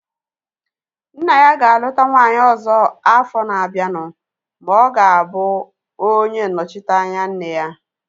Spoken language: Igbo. Nna ya ga-aluta nwaanyị ọzọ afọ na-abianu ma ọ ga-abụ onye nnọchiteanya nne ya